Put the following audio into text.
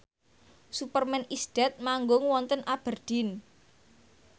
Superman is Dead manggung wonten Aberdeen